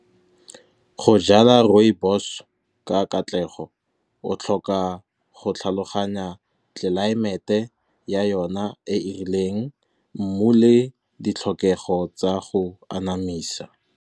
Go jala rooibos ka katlego o tlhoka go tlhaloganya tlelaemete ya yona e e rileng, mmu le ditlhokego tsa go anamisa.